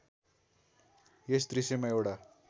यस दृश्यमा एउटा